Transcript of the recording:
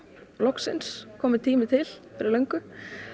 loksins kominn tími til fyrir löngu